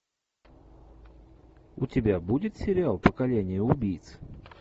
у тебя будет сериал поколение убийц